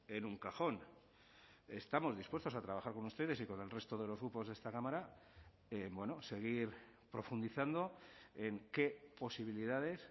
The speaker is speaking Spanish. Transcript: en un cajón estamos dispuestos a trabajar con ustedes y con el resto de los grupos de esta cámara seguir profundizando en qué posibilidades